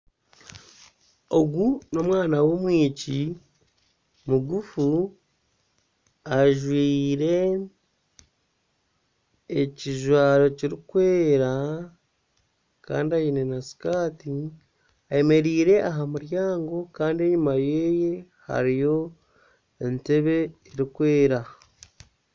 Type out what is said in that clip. Ogu n'omwana w'omwishiki mugufu ajwaire ekijwaro kirikwera kandi aine na sikaati. Ayemereire aha muryango kandi enyima yeye hariyo entebe erikwera.